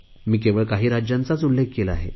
मी केवळ काही राज्यांचाच उल्लेख केला आहे